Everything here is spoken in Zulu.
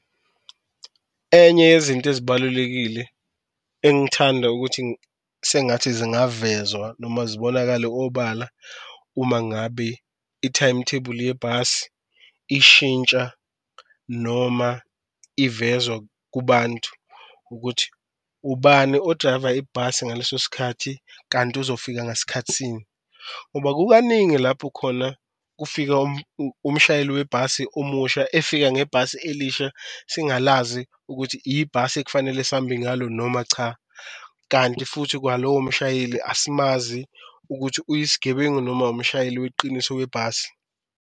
Enye yezinto ezibalulekile engithanda ukuthi sengathi zingavezwa noma zibonakale obala uma ngabe ithayimuthebuli yebhasi ishintsha noma ivezwa kubantu, ukuthi ubani odrayiva ibhasi ngaleso sikhathi kanti uzofika ngasikhathi sini. Ngoba kukaningi lapho khona kufika umshayeli webhasi omusha, efika ngebhasi elisha sigalazi ukuthi ibhasi ekufanele sambe ngalo noma cha, kanti futhi kwalowo mshayeli asimazi ukuthi uyisigebengu noma umshayeli weqiniso webhasi.